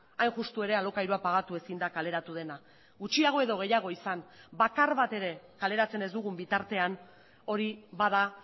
hain justu ere alokairua pagatu ezin da kaleratu dena gutxiago edo gehiago izan bakar bat ere kaleratzen ez dugun bitartean hori bada